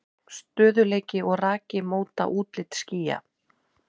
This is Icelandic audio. Stöðugleiki og raki móta útlit skýja.